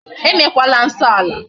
E mekwala nsọ ala.